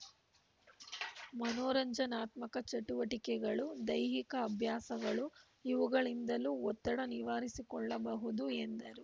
ಮನೋರಂಜನಾತ್ಮಕ ಚಟುವಟಿಕೆಗಳು ದೈಹಿಕ ಅಭ್ಯಾಸಗಳು ಇವುಗಳಿಂದಲೂ ಒತ್ತಡ ನಿವಾರಿಸಿಕೊಳ್ಳಬಹುದು ಎಂದರು